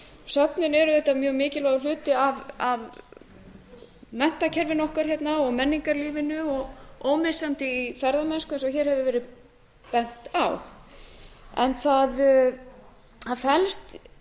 söfnin eru auðvitað mjög mikilvægur hluti af menntakerfinu okkar hérna og menningarlífinu og ómissandi í ferðamennsku eins og hér hefur verið bent á það felst